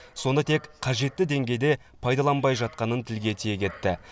соны тек қажетті деңгейде пайдаланбай жатқанын тілге тиек етті